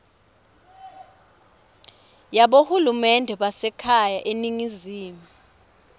yabohulumende basekhaya eningizimu